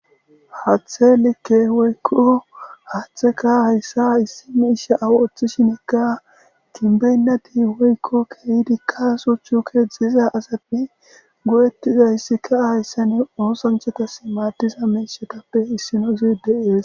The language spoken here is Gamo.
hathe likke woykko haaththeka hayssa issimi isha awu oththishinekka kinbeynnati woykko keeyidi kaaso chuuke zeeza asainne go7ettiza hissika hayssane oosanthetas maaddiza menshetappe issino zide ees